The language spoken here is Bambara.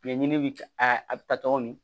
Ɲɛɲini bɛ a bɛ ta tɔgɔ min